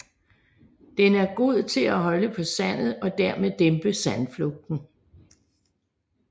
Den er god til at holde på sandet og dermed dæmpe sandflugten